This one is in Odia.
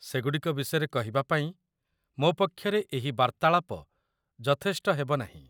ସେଗୁଡ଼ିକ ବିଷୟରେ କହିବା ପାଇଁ ମୋ ପକ୍ଷରେ ଏହି ଏହି ବାର୍ତ୍ତାଳାପ ଯଥେଷ୍ଟ ହେବ ନାହିଁ।